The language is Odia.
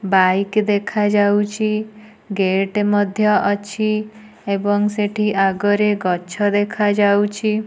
ବାଇକ୍ ଦେଖାଯାଉଚି ଗେଟ୍ ମଧ୍ୟ ଅଛି ଏବଂ ସେଠି ଆଗରେ ଗଛ ଦେଖାଯାଉଚି।